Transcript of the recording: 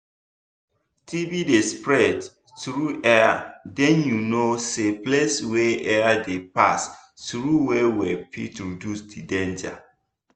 tb dey spread through airden you know say place wey air dey pass through well well fit reduce the danger